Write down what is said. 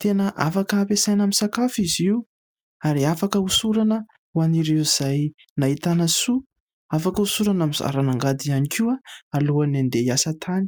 Tena afaka ampiasaina amin'ny sakafo izy io ary afaka hosorana ho an'ireo izay nahitana soa, afaka hosorana amin'ny zaran'angady ihany koa alohan'ny andeha hiasa tany.